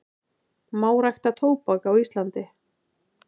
Má rækta tóbak á Íslandi?